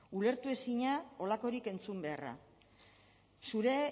ulertezina horrelakorik entzun beharra zure